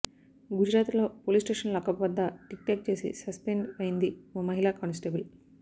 గుజరాత్లో police station lockup వద్ద TikTok చేసి సస్పెండ్ అయ్యింది ఓ మహిళా కానిస్టేబుల్